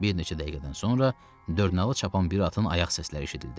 Bir neçə dəqiqədən sonra dörnalı çapan bir atın ayaq səsləri eşidildi.